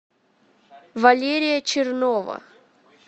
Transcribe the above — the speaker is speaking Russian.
валерия чернова